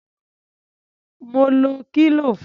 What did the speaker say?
Mo lo kílò fun.